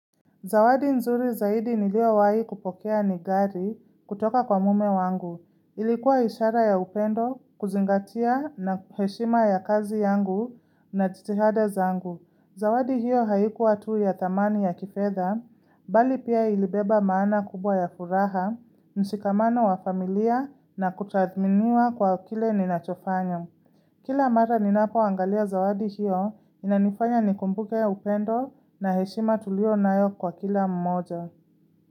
Zawadi nzuri zaidi niliyowahi kupokea ni gari kutoka kwa mume wangu. Ilikuwa ishara ya upendo, kuzingatia na heshima ya kazi yangu na jitihada zangu. Zawadi hiyo haikuwa tu ya thamani ya kifedha, bali pia ilibeba maana kubwa ya furaha, mshikamano wa familia na kutathminiwa kwa kile ninachofanya. Kila mara ninapoangalia zawadi hiyo, inanifanya nikumbuke upendo na heshima tulionayo kwa kila mmoja.